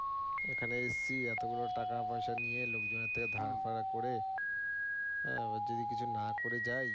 এখানে এসছি এতোগুলো টাকা পয়সা নিইয়ে লোকজনের থেকে ধার ফারা করে হ্যাঁ, এবার যদি কিছু না করে যাই